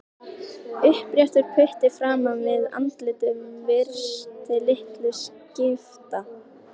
Uppréttur putti framan við andlitið virtist litlu skipta.